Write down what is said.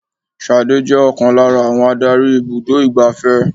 Ṣadé je ọ̀kan lára àwọn Ádárì ibùdó igbàfẹ́.